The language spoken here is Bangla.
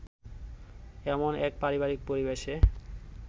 এমন এক পারিবারিক পরিবেশে